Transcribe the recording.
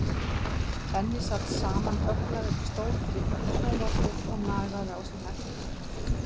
Benni sat samanbögglaður í stól fyrir framan sjónvarpið og nagaði á sér neglurnar.